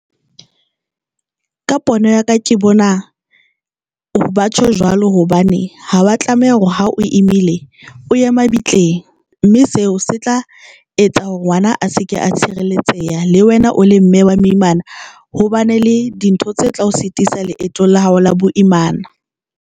Ka pono ya ka ke bona batjho jwalo hobane ha o a tlameha hore ha o imile o ye mabitleng, mme sena se tla etsa hore ngwana a se ke a tshireletseha le wena o le mme wa moimana hobane le dintho tse tla o sitisa leetong la hao la boimana.